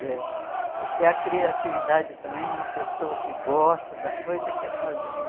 Veja, o que é a criatividade também de uma pessoa que gosta da coisa e quer fazer, né?